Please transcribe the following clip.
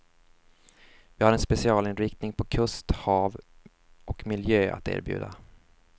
Vi har en specialinriktning på kust, hav och miljö att erbjuda.